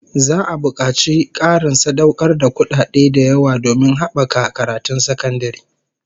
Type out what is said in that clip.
Za'a bukaci Karin sadaukar da kudaden da yawa domin habaka karatun sakandare